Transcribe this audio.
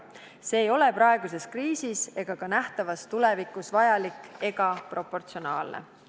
See ei ole praeguses kriisis ega ka nähtavas tulevikus vajalik ega proportsionaalne.